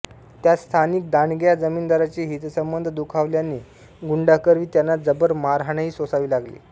त्यात स्थानिक दांडग्या जमीनदारांचे हितसंबंध दुखावल्याने गुंडांकरवी त्यांना जबर मारहाणही सोसावी लागली